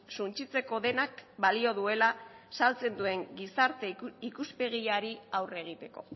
suntsitzeko denak balio duela saltzen duen gizarte ikuspegiari aurre egiteko